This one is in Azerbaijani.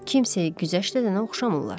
Kimsəyə güzəşt edənə oxşamırlar.